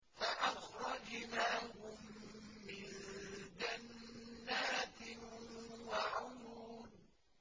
فَأَخْرَجْنَاهُم مِّن جَنَّاتٍ وَعُيُونٍ